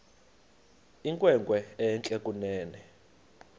inkwenkwe entle kunene